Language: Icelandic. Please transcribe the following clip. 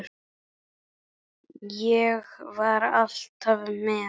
Ég var alltaf með.